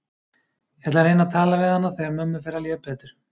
Ég ætla að reyna að tala við hana þegar mömmu fer að líða betur.